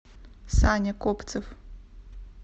саня копцев